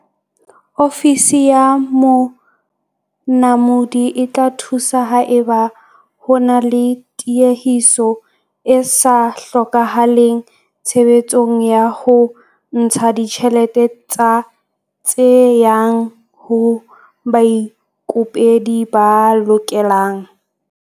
Ofisi ya Monamodi e tla thusa haeba ho na le tiehiso e sa hlokahaleng tshebetsong ya ho ntsha ditjhelete tse yang ho baikopedi ba lokelang.